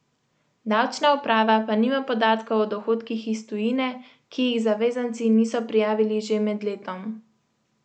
Davčna uprava pa nima podatkov o dohodkih iz tujine, ki jih zavezanci niso prijavili že med letom.